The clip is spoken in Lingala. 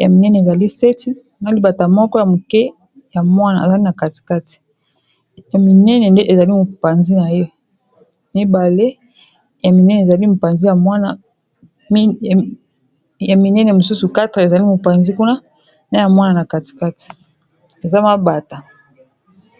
Ya minene ezali 7, na libata moko ya moke ya mwana ezali na katikati. Ya minene nde, ezali mopanzi naye. Ya minene mosusu 4 ezali mopanzi kuna. Na ya mwana na katikati. Ezali mabata.